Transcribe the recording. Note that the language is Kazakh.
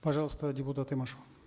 пожалуйста депутат имашева